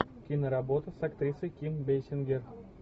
киноработа с актрисой ким бейсингер